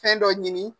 Fɛn dɔ ɲini